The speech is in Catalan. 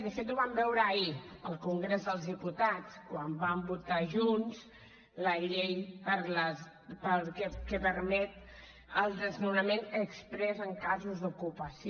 de fet ho vam veure ahir al congrés dels diputats quan van votar junts la llei que permet el desnonament exprés en casos d’ocupació